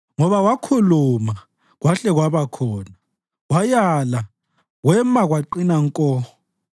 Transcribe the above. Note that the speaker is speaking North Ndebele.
Ngoba wakhuluma, kwahle kwaba khona; wayala, kwema kwaqina nko.